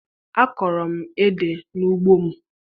Akọrọ m ede n'ugbo m